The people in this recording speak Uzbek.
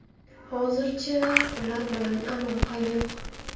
Hozircha ular bilan aloqa yo‘q.